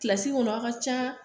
Kilasi kɔnɔ a ka can